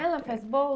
Ela faz bolsa?